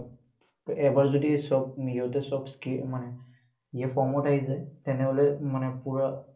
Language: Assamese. এবাৰ যদি চব, সিহঁতে চব মানে ইয়ে form ত আহি যায়, তেনেহ'লে মানে পুৰা,